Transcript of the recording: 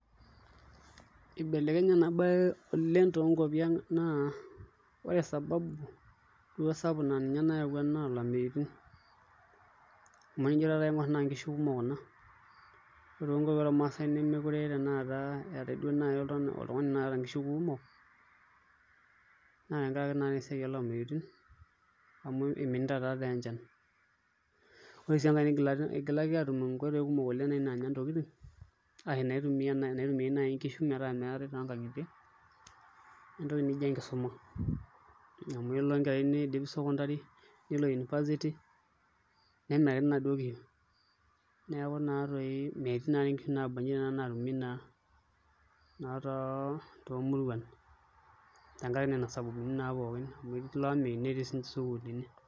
Ibelekenye ena baye toonkuapi ang' naa ore sababu duo sapuk naa ninye nayaua naa ilameyutin amu tenijoaing'orr naa nkishu kumok kuna, ore toonkuapi ormaasae nemeekure etai oltung'ani oota duo naai nkishu kumok naa tenkaraki naatoi esiai olameyutin amu iminita taatoi enchan ore sii enkae igilaki aatum nkoitoi kumok naanya ntokitin ashu naitumia naai nkishu metaa meetai toonkang'itie naa entoki nijio enkisuma amu eleo enkerai niidim secondary nelo university nemirakini inaduo kishu neeku naatoi metii naa nkishu naaba nijia naatumi naa toomuruan tenkaraki naa nena sababuni pooki amu etii ilo ameyu netii nena sukuulini.